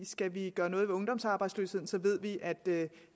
skal vi gøre noget ved ungdomsarbejdsløsheden ved vi at